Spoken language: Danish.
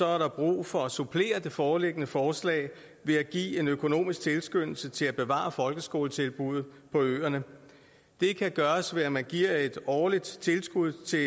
er der brug for at supplere det foreliggende forslag ved at give en økonomisk tilskyndelse til at bevare folkeskoletilbud på øerne det kan gøres ved at man giver et årligt tilskud til